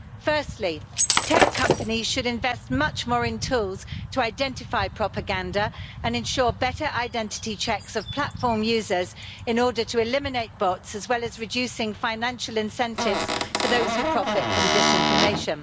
Firstly, tech companies should invest much more in tools to identify propaganda and ensure better identity checks of platform users in order to eliminate bots, and to reduce financial incentives for those who profit from disinformation.